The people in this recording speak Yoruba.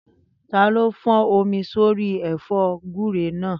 Taló fọ́n omi sí orí ẹ̀fọ́ gúúre náà?